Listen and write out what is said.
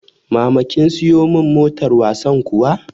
Mama kin siyo mun motar wasan kuwa?